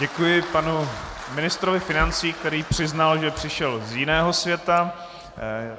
Děkuji panu ministrovi financí, který přiznal, že přišel z jiného světa.